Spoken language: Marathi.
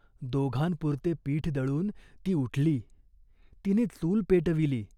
दोघांपुरते पीठ दळून ती उठली. तिने चूल पेटविली.